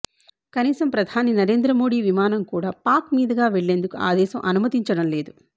కనీసం ప్రధాని నరేంద్ర మోడీ విమానం కూడా పాక్ మీదుగా వెళ్లేందుకు ఆ దేశం అనుమతించడం లేదు